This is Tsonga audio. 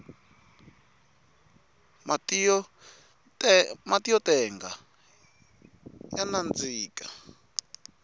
matiyo tenga ya nandika